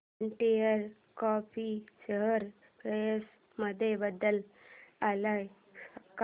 container corp share price मध्ये बदल आलाय का